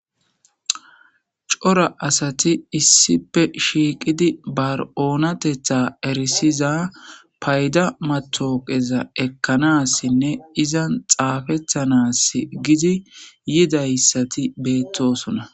cora asati issipe shiiqidi bar7oonatetha erisiza payda matoqeza ekkanassinne izan xaafethanas gidi yidayssati beettosona